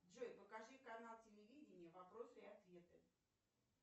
джой покажи канал телевидения вопросы и ответы